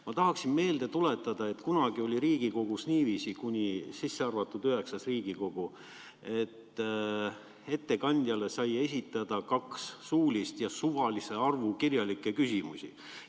Ma tahan kõigile meelde tuletada, et kunagi oli Riigikogus niiviisi – kaasa arvatud IX Riigikogu –, et ettekandjale sai esitada kaks suulist ja suvalise arvu kirjalikke küsimusi.